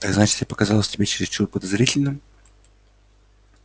так значит я показался тебе чересчур подозрительным